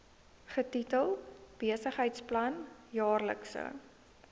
getitel besigheidsplan jaarlikse